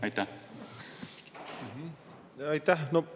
Aitäh!